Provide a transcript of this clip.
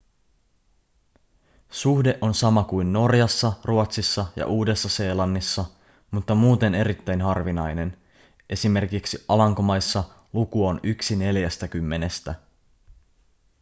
suhde on sama kuin norjassa ruotsissa ja uudessa-seelannissa mutta muuten erittäin harvinainen esim. alankomaissa luku on yksi neljästäkymmenestä